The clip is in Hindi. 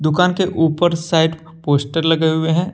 दुकान के ऊपर साइड पोस्टर लगे हुए हैं।